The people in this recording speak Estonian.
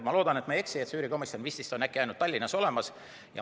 Ma loodan, et ma ei eksi, aga üürikomisjon vististi on ainult Tallinnas olemas.